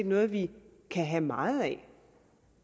noget vi kan have meget af